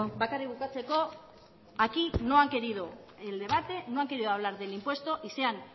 bakarrik bukatzeko aquí no han querido el debate no han querido hablar del impuesto y se han